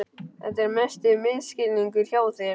Þetta er mesti misskilningur hjá þér!